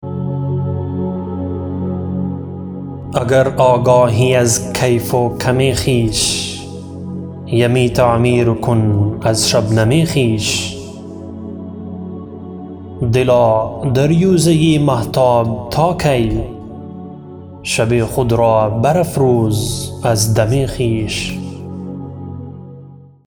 اگر آگاهی از کیف و کم خویش یمی تعمیر کن از شبنم خویش دلا دریوزه مهتاب تا کی شب خود را برافروز از دم خویش